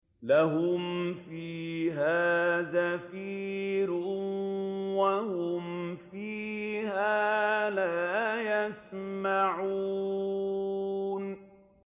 لَهُمْ فِيهَا زَفِيرٌ وَهُمْ فِيهَا لَا يَسْمَعُونَ